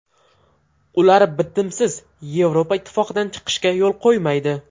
Ular bitimsiz Yevropa Ittifoqidan chiqishga yo‘l qo‘ymaydi.